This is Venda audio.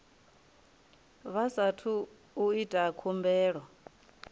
vha saathu u ita khumbelo